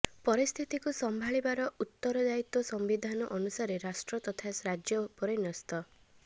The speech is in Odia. ପରିସ୍ଥିତିକୁ ସମ୍ଭାଳିବାର ଉତ୍ତର ଦାୟିତ୍ୱ ସମ୍ବିଧାନ ଅନୁସାରେ ରାଷ୍ଟ୍ର ତଥା ରାଜ୍ୟ ଉପରେ ନ୍ୟସ୍ତ